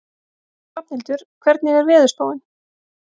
Hrafnhildur, hvernig er veðurspáin?